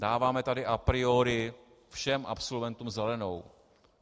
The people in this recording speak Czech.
Dáváme tady a priori všem absolventům zelenou.